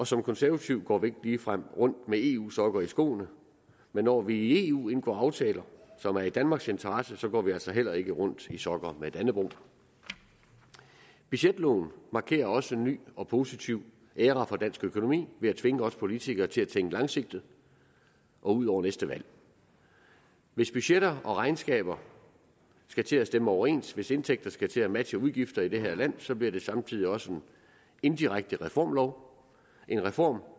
som konservativ går man ikke ligefrem rundt med eu sokker i skoene men når vi i eu indgår aftaler som er i danmarks interesse så går vi altså heller ikke rundt i sokker med dannebrog budgetloven markerer også en ny og positiv æra for dansk økonomi ved at tvinge os politikere til at tænke langsigtet og ud over næste valg hvis budgetter og regnskaber skal til at stemme overens hvis indtægter skal til at matche udgifter i det her land så bliver det samtidig også en indirekte reformlov en reformlov